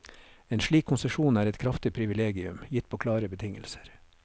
En slik konsesjon er et kraftig privilegium, gitt på klare betingelser.